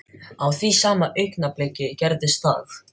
Á því sama augnabliki gerðist það.